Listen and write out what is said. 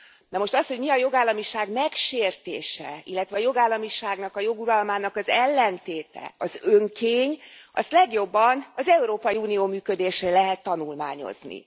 Na most az, hogy mi a jogállamiság megsértése, illetve a jogállamiságnak, a jog uralmának az ellentéte, az önkény, azt legjobban az Európai Unió működésén lehet tanulmányozni.